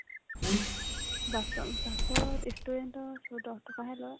বাছত বাছত ই student ৰ দহ টকাহে লয়